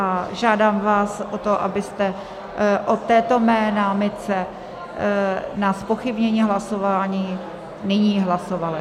A žádám vás o to, abyste o této mé námitce na zpochybnění hlasování nyní hlasovali.